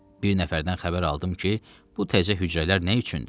Bir nəfərdən xəbər aldım ki, bu təzə hücrələr nə üçündür?